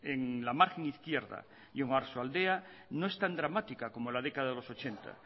en la margen izquierda y en oarsoaldea no es tan dramática como en la década de los ochenta